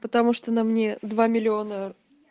потому что то на мне два миллиона